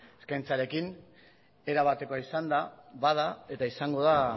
eskaintzarekin erabatekoa izanda bada eta izango da